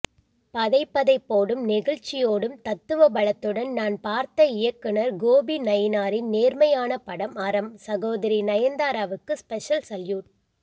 பதைபதைபோடும் நெகிழ்ச்சியோடும் தத்துவபலத்துடன் நான் பார்த்த இயக்குநர் கோபிநயினாரின் நேர்மையான படம் அறம் சகோதரி நயந்தாராவுக்கு ஸ்பெஷல் சல்யூட்